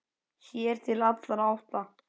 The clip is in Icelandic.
Sér til allra átta.